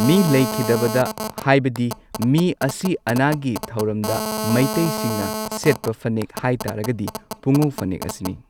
ꯃꯤ ꯂꯩꯈꯤꯗꯕꯗ ꯍꯥꯏꯕꯗꯤ ꯃꯤ ꯑꯁꯤ ꯑꯅꯥꯒꯤ ꯊꯧꯔꯝꯗ ꯃꯩꯇꯩꯁꯤꯡꯅ ꯁꯦꯠꯄ ꯐꯅꯦꯛ ꯍꯥꯏꯇꯥꯔꯒꯗꯤ ꯄꯨꯉꯧ ꯐꯅꯦꯛ ꯑꯁꯤꯅꯤ꯫